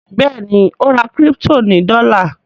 Béèni o rà crypto ní dola.